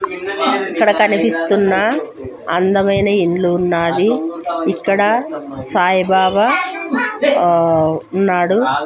ఇక్కడ కనిపిస్తున్న అందమైన ఇల్లు ఉన్నాది ఇక్కడ సాయి బాబా ఆ ఉన్నాడు.